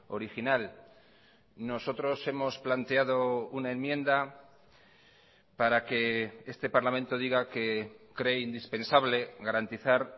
original nosotros hemos planteado una enmienda para que este parlamento diga que cree indispensable garantizar